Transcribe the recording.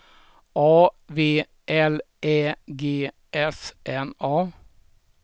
A V L Ä G S N A